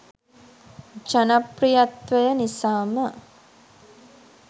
ජනප්‍රියත්වය නිසාම.